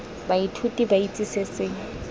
baithuti ba itse se se